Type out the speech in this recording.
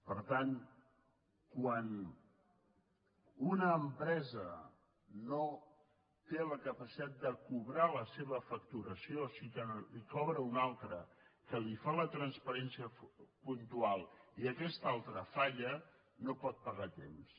per tant quan una empresa no té la capacitat de cobrar la seva facturació i cobra una altra que li fa transferència puntual i aquesta altra falla no pot pagar a temps